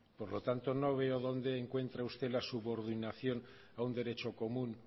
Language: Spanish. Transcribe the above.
por lo tanto no veo dónde encuentra usted la subordinación a un derecho común